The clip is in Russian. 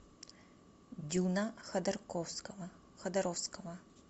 дюна ходорковского ходоровского